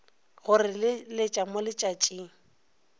go re leletša mo letšatšing